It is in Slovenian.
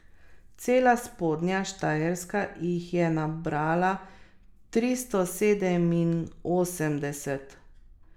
Cela Spodnja Štajerska jih je nabrala tristo sedeminosemdeset.